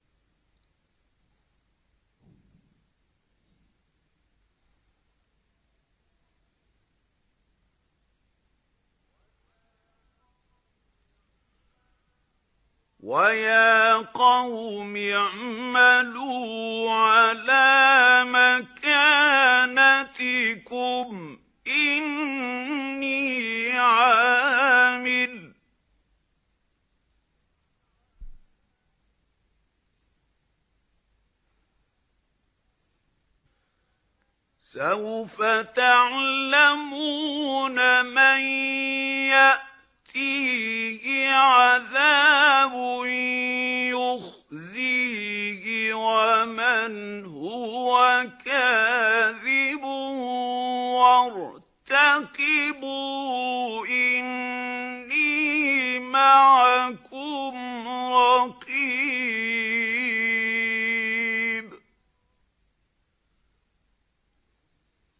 وَيَا قَوْمِ اعْمَلُوا عَلَىٰ مَكَانَتِكُمْ إِنِّي عَامِلٌ ۖ سَوْفَ تَعْلَمُونَ مَن يَأْتِيهِ عَذَابٌ يُخْزِيهِ وَمَنْ هُوَ كَاذِبٌ ۖ وَارْتَقِبُوا إِنِّي مَعَكُمْ رَقِيبٌ